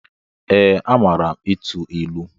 Ee, amaara ịtụ ịlụ.